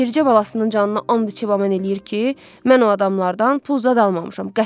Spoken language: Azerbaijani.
Bircə balasının canına and içib əmin eləyir ki, mən o adamlardan pul zad almamışam.